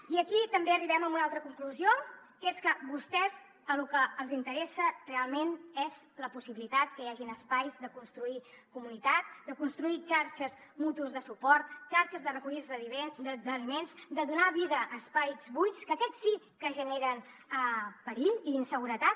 i aquí també arribem a una altra conclusió que és que a vostès el que els interessa realment és la possibilitat que hi hagin espais de construir comunitat de construir xarxes mútues de suport xarxes de recollida d’aliments de donar vida a espais buits que aquests sí que generen perill i inseguretat